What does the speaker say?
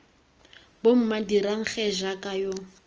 bomma dirang gee jaaka yo